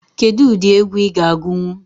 Kedụ ụdị egwu ị ga agunwu?